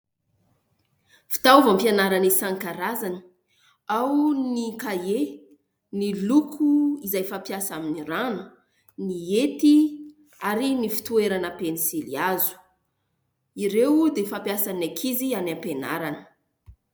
Fitaovam-pianarana isan-karazany : ao ny kahie, ny loko izay fampiasa amin'ny rano, ny hety ary ny fitoerana pensily hazo, ireo dia fampiasan'ny ankizy any am-pianarana.